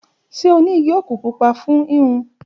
Ṣe o ni igi oaku pupa fun hihun?